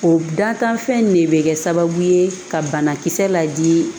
O da kan fɛn in de bɛ kɛ sababu ye ka banakisɛ ladi